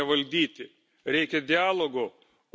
Reikia tartis, o ne valdyti.